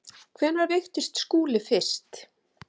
Hvenær veiktist Skúli fyrst?